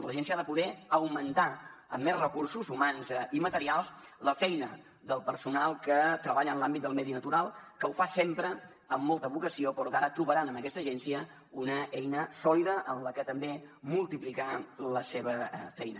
l’agència ha de poder augmentar amb més recursos humans i materials la feina del personal que treballa en l’àmbit del medi natural que ho fa sempre amb molta vocació però que ara trobaran en aquesta agència una eina sòlida en la que també multiplicar la seva feina